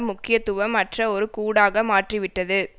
முக்கியத்துவம் அற்ற ஒரு கூடாக மாற்றிவிட்டது